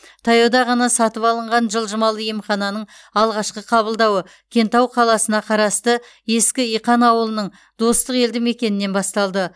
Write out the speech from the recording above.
таяуда ғана сатып алынған жылжымалы емхананың алғашқы қабылдауы кентау қаласына қарасты ескі иқан ауылының достық елді мекенінен басталды